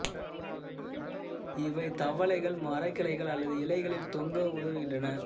இவை தவளைகள் மரக் கிளைகள் அல்லது இலைகளில் தொங்க உதவுகின்றன